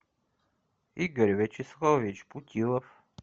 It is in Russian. игорь вячеславович путилов